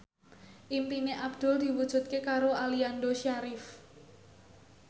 impine Abdul diwujudke karo Aliando Syarif